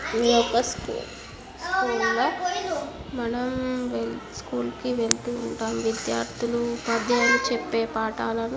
ఇది ఒక స్కూల్ మనం స్కూల్ కి వెళ్తూ ఉంటాము విద్యార్ధులు ఉపాధ్యాయులు చెప్పే పాఠాలు.